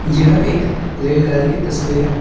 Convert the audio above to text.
यह एक रेलगाड़ी की तस्वीर है।